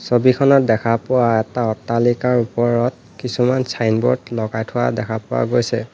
ছবিখনত দেখা পোৱা এটা অট্টালিকাৰ ওপৰত কিছুমান ছাইনবোৰ্ড লগাই থোৱা দেখা পোৱা গৈছে।